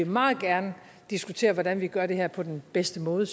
meget gerne diskutere hvordan vi gør det her på den bedste måde